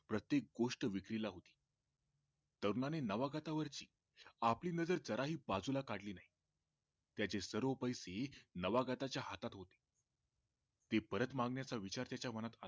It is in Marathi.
प्रत्येक गोष्ट विक्रीला होती तरुणाने नावागतावरची आपली नजरजराही बाजूला काढली नाही त्याचे सर्व पैसे नावागताच्या हातात होते ते परत मागण्याचा विचार त्याचा मनात आला